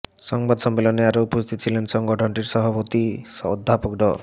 সংবাদ সম্মেলনে আরও উপস্থিত ছিলেন সংগঠনটির সভাপতি অধ্যাপক ড